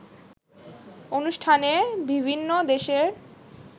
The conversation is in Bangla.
অনুষ্ঠানে বিভিন্ন দেশের